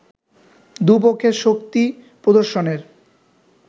দু’পক্ষের শক্তি প্রদর্শনের